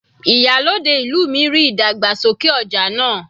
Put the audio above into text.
Ìyálòde ìlú mi ríi ìdàgbàsókè ọja náà.